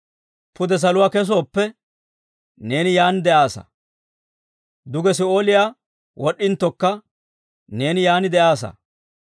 Pude saluwaa kesooppe, neeni yaan de'aassa! Duge Si'ooliyaa wod'd'inttokka, neeni yaan de'aassa.